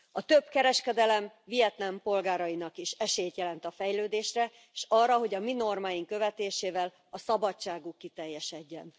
A több kereskedelem Vietnám polgárainak is esélyt jelent a fejlődésre, és arra, hogy a mi normáink követésével a szabadságuk kiteljesedjen.